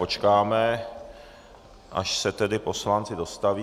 Počkáme, až se tedy poslanci dostaví....